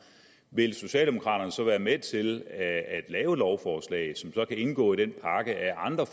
vil socialdemokraterne så være med til at lave et lovforslag som så kan indgå i den pakke af andre